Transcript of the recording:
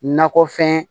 Nakɔfɛn